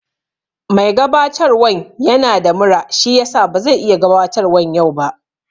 Mai gabatarwan yana da mura shiyasa bazai iya gabatarwan ba yau